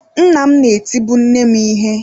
Nna m na-etibu nne m ihe.